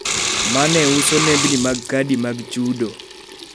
ma ne uso nembni mag kadi mag chudo (kaka.